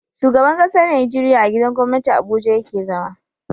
Shugaban ƙasar Nigeria a gidan gwamnati abuja yake zama